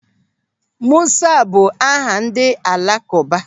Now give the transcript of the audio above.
Musa bụ aha ndị alakụba.